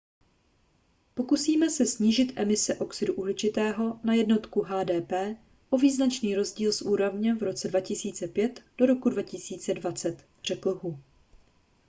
pokusíme se snížit emise oxidu uhličitého na jednotku hdp o význačný rozdíl z úrovně v roce 2005 do roku 2020 řekl hu